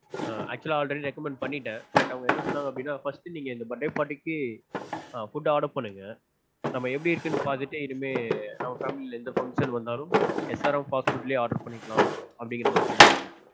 ஆஹ் actual லா already recommend பண்ணிட்டேன். but அவங்க என்ன சொன்னாங்க அப்டீனா first இந்த birthday party க்கு food order பண்ணுங்க. நம்ம எப்படி இருக்குனு பாத்துட்டு இனிமேல் நம்ம family ல எந்த function வந்தாலும் SRM fast food லயே order பண்ணிக்கலாம்.